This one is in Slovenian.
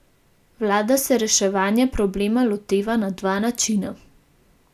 Vlada se reševanje problema loteva na dva načina.